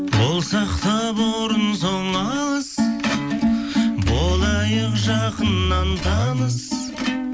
болсақ та бұрын соң алыс болайық жақыннан таныс